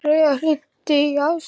Hreiðar, hringdu í Asarías.